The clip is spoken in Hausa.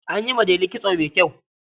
An yi wa Delu kitso mai kyau.